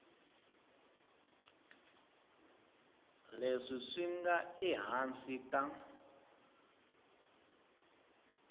leswi swi nga ehansi ka